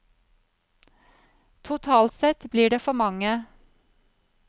Totalt sett blir det for mange.